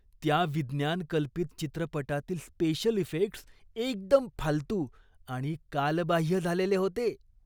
त्या विज्ञान कल्पित चित्रपटातील स्पेशल इफेक्ट्स एकदम फालतू आणि कालबाह्य झालेले होते.